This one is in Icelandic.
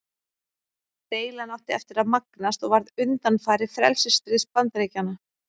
Deilan átti eftir að magnast og varð undanfari frelsisstríðs Bandaríkjanna.